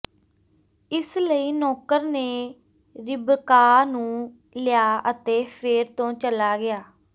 ਇਸ ਲਈ ਨੌਕਰ ਨੇ ਰਿਬਕਾਹ ਨੂੰ ਲਿਆ ਅਤੇ ਫ਼ੇਰ ਤੋਂ ਚੱਲਾ ਗਿਆ